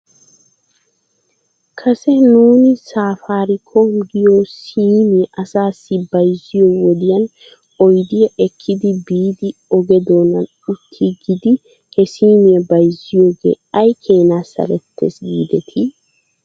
Kase nuuni saafaarikoom giyoo siimiyaa asaassi bayzziyoo wodiyan oydiyaa ekkidi biidi oge doonan uttiigidi he siimiyaa bayzziyoogee aykeena salettes giidetii?